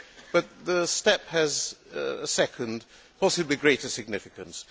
But the step has a second, possibly greater significance.